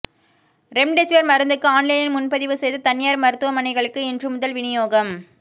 remdesivir மருந்துக்கு ஆன்லைனில் முன்பதிவு செய்த தனியார் மருத்துவமனைகளுக்கு இன்று முதல் விநியோகம்